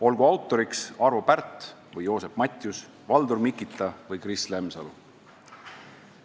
Olgu autoriks Arvo Pärt või Joosep Matjus, Valdur Mikita või Kris Lemsalu.